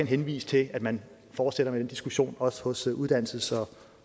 henvise til at man fortsætter med den diskussion også hos uddannelses